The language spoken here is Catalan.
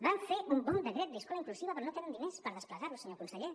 vam fer un bon decret d’escola inclusiva però no tenen diners per desplegar lo senyor conseller